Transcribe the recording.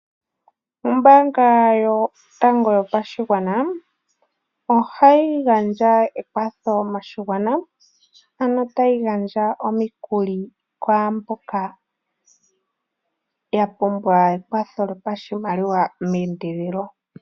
Ombaanga yotango yopashigwana ohayi gandja ekwatho moshigwana, ano ta yi gandja omikuli kwaamboka ya pumbwa ekwatho lyopashimaliwa meendelelo.